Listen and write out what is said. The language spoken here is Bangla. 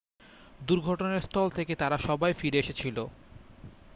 দুর্ঘটনাস্থল থেকে তারা সবাই ফিরে এসেছিল